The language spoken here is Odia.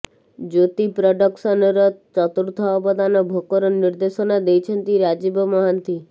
ଜ୍ୟୋତି ପ୍ରଡକ୍ସନର ଚତୁର୍ଥ ଅବଦାନ ଭୋକର ନିର୍ଦ୍ଦେଶନା ଦେଇଛନ୍ତି ରାଜୀବ ମହାନ୍ତି